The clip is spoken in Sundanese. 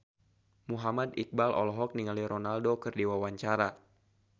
Muhammad Iqbal olohok ningali Ronaldo keur diwawancara